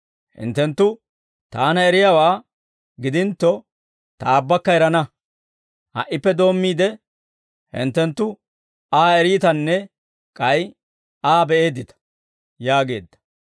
Hinttenttu Taana eriyaawaa gidintto, Ta Aabbakka erana; ha"ippe doommiide, hinttenttu Aa eriitanne k'ay Aa be'eeddita» yaageedda.